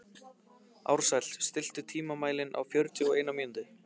Ársæll, stilltu tímamælinn á fjörutíu og eina mínútur.